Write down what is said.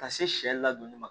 Ka se sɛ ladonni ma